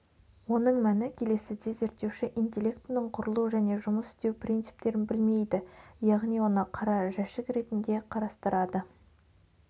оның мәні келесіде зерттеуші интеллектінің құрылу және жұмыс істеу принциптерін білмейді яғни оны қара жәшік ретінде қарастырады